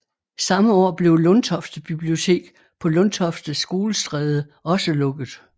Samme år blev Lundtofte bibliotek på Lundtofte Skolestræde også lukket